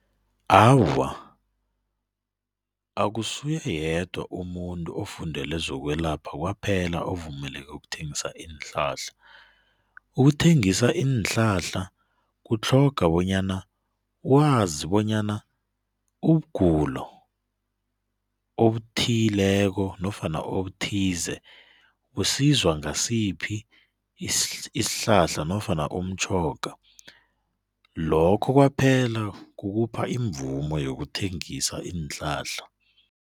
Awa, akusuye yedwa umuntu ofundele zokwelapha kwaphela ovumeleke ukuthengisa iinhlahla, ukuthengisa iinhlahla kutlhoga bonyana wazi bonyana ubugulo obuthileko nofana obuthize busizwa ngasiphi isihlahla nofana umtjhoga, lokho kwaphela kukupha imvumo yokuthengisa iinhlahla.